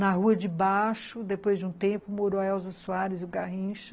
Na Rua de Baixo, depois de um tempo, morou a Elsa Soares e o Garrincha.